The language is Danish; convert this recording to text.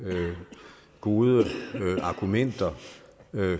gode argumenter